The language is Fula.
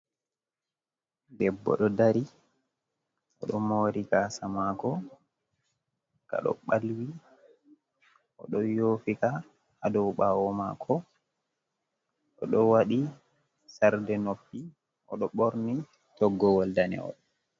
Debbo ɗo dari, odo mori gasa mako kaɗo ɓalwi, oɗo rufitika adou ɓawo mako. Odo waɗi sarde noffi odo borni toggowol danewol.